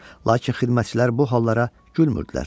Lakin xidmətçilər bu hallara gülmürdülər.